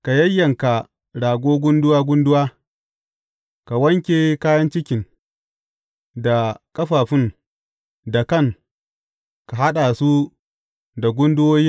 Ka yayyanka rago gunduwa gunduwa, ka wanke kayan cikin, da ƙafafun, da kan, ka haɗa su da gunduwoyin.